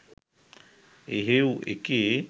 එහෙවු එකේ